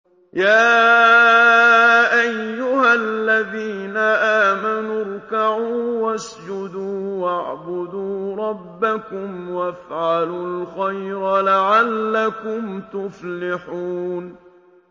يَا أَيُّهَا الَّذِينَ آمَنُوا ارْكَعُوا وَاسْجُدُوا وَاعْبُدُوا رَبَّكُمْ وَافْعَلُوا الْخَيْرَ لَعَلَّكُمْ تُفْلِحُونَ ۩